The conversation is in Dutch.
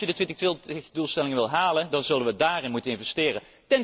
Dus als u die doelstellingen wilt halen, dan zullen wij daarin moeten investeren.